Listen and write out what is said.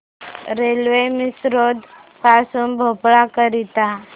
railway Misrod पासून भोपाळ करीता